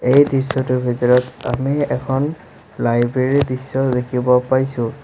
এই দৃশ্যটোৰ ভিতৰত আমি এখন লাইব্ৰেৰী দৃশ্যও দেখিব পাইছোঁ।